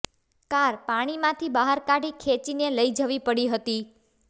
car પાણીમાંથી બહાર કાઢી ખેંચીને લઈ જવી પડી હતી